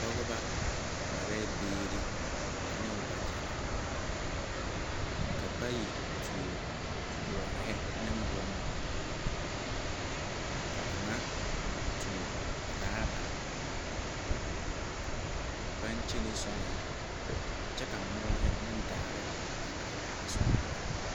Pogeba mareɛɛ biire aneŋ wagyɛrre ka bayi tuoɔ bɔɔrehi neŋ bonhū ka kaŋa tuoɔ raaba baŋ kyene soriŋ kyɛ ka moɔre neŋ daare aihi a sore nɔɔreŋ.